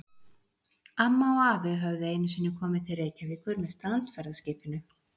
Amma og afi höfðu einu sinni komið til Reykjavíkur með strandferðaskipinu